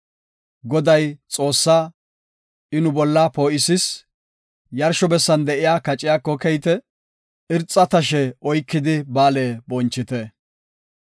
Goday Xoossaa; I nu bolla poo7isis; yarsho bessan de7iya kaciyako keyite; irxa tashe oykidi ba7aale bonchite.